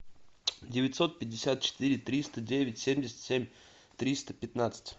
девятьсот пятьдесят четыре триста девять семьдесят семь триста пятнадцать